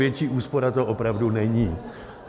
Větší úspora to opravdu není.